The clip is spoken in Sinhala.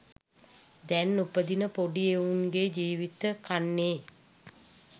දැන් උපදින පොඩි එවුන්ගේ ජීවිත කන්නේ.